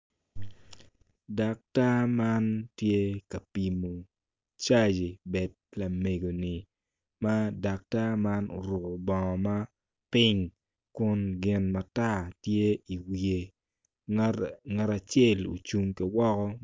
Puc man obuto piny kun puc man kala kome tye macol nicuc kun opero ite tye ka winyo jami. Puc